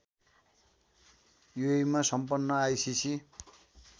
युएइमा सम्पन्न आइसिसि